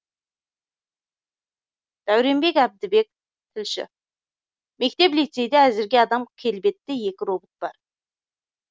дәуренбек әбдібек тілші мектеп лицейде әзірге адам келбетті екі робот бар